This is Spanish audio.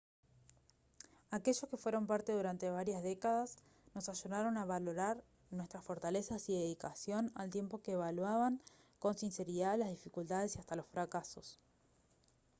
aquellos que fueron parte durante varias décadas nos ayudaron a valorar nuestras fortalezas y dedicación al tiempo que evaluaban con sinceridad las dificultades y hasta los fracasos